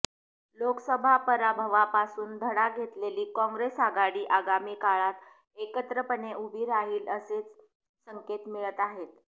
लोकसभा पराभवापासून धडा घेतलेली कॉंग्रेस आघाडी आगामी काळात एकत्रपणे उभी राहील असेच संकेत मिळत आहेत